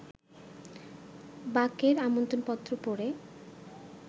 বাক-এর এই আমন্ত্রণপত্র পড়ে